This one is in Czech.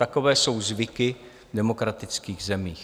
Takové jsou zvyky v demokratických zemích.